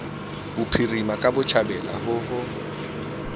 bophirima ka botjhabela ho ho